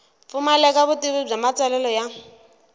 pfumaleka vutivi bya matsalelo ya